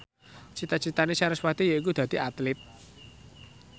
cita citane sarasvati yaiku dadi Atlit